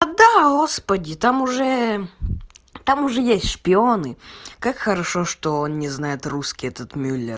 да господи там уже там уже есть шпионы как хорошо что он не знает русский этот мюллер